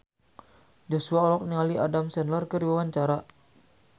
Joshua olohok ningali Adam Sandler keur diwawancara